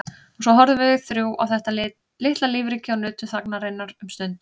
Og svo horfðum við þrjú á þetta litla lífríki og nutum þagnarinnar um stund.